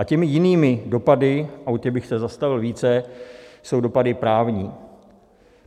A těmi jinými dopady, a u těch bych se zastavil více, jsou dopady právní.